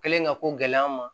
Kɛlen ka ko gɛlɛya an ma